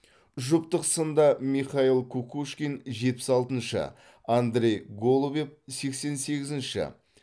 жұптық сында михаил кукушкин жетпіс алтыншы андрей голубев сексен сегізінші